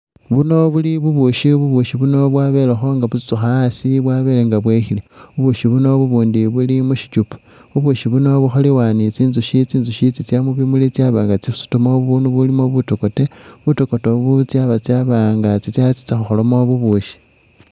Buno buli bubushi bubushi buno bwabelenga butsutsukha asi bwabelenga bwekhile, bubushi buno bubundi buli mushichupa, bubushi buno bukholebwa ni tsi'ntsushi, tsi'ntsushi tsitsa mubimuli tsabanga tsisutamo bunu bulimo butokote, butokote bu tsabanga tsatsa khukholamo bubushi